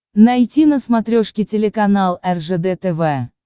найти на смотрешке телеканал ржд тв